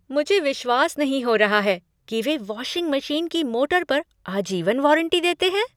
मुझे विश्वास नहीं हो रहा है कि वे वाशिंग मशीन की मोटर पर आजीवन वारंटी देते हैं।